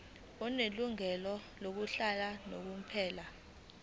onelungelo lokuhlala unomphela